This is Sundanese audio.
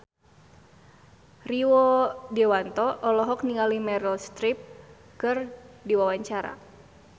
Rio Dewanto olohok ningali Meryl Streep keur diwawancara